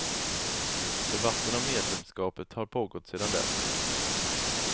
Debatten om medlemskapet har pågått sedan dess.